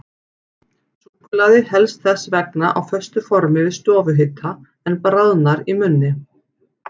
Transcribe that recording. Súkkulaði helst þess vegna á föstu formi við stofuhita, en bráðnar í munni.